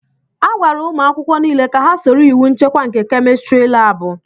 Agwara umu akwukwo n'ile ka ha soro iwu nchekwa nke kémistiri láábu